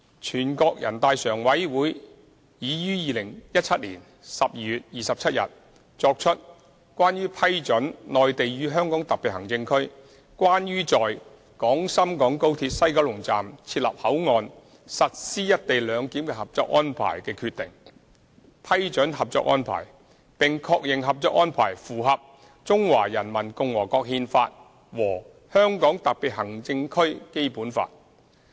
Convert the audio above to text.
全國人大常委會已於2017年12月27日作出《關於批准〈內地與香港特別行政區關於在廣深港高鐵西九龍站設立口岸實施"一地兩檢"的合作安排〉的決定》，批准《合作安排》，並確認《合作安排》符合《中華人民共和國憲法》和《香港特別行政區基本法》。